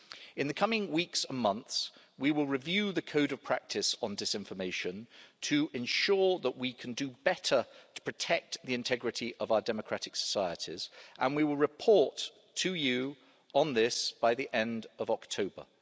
In the coming weeks and months, we will review the Code of Practice on Disinformation to ensure that we can do better to protect the integrity of our democratic societies, and we will report to you on this by the end of October.